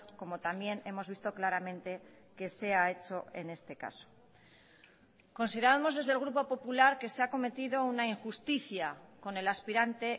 como también hemos visto claramente que se ha hecho en este caso consideramos desde el grupo popular que se ha cometido una injusticia con el aspirante